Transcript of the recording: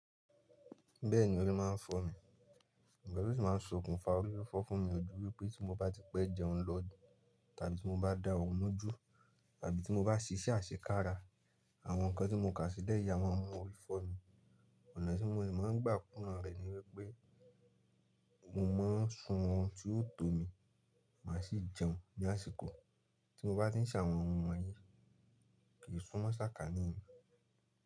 Bẹ́ẹ̀ni ori máa ń fọ́ mi, orififo de máa ń ṣokùnfà. Ori fọ́ fún mi ojú wípé tí mo bá ti pẹ́ jẹun lọ tàbí tí mo bá da ọrun mọ́jú tàbí tí mo bá ṣìṣẹ́ àṣekára, àwọn nǹkan tí mo kà sílẹ̀ ya máa mú orí fọ́ mi. Ọ̀nà tí mo ní máa ń gbà kú na rẹ̀ ni wípé mo máa ń sun ọ̀ún tí ó tó mi, màá sì jẹun ní àsìkò tí mo bá ti ń ṣàwọn ohun wọ̀nyí. Kì í súnmọ́ sákà ní ìlú.